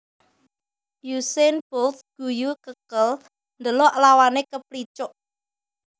Usain Bolt ngguyu kekel ndelok lawane keplicuk